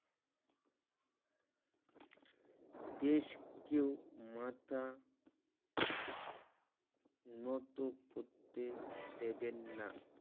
দেশ কেউ মাথা নত করতে দেবেন না